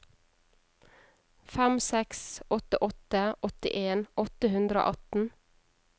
fem seks åtte åtte åttien åtte hundre og atten